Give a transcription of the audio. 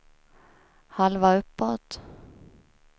halva uppåt